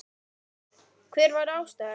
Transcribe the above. Hver var ástæðan?